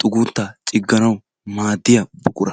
xugunttaa cigganawu maadiya buqqura.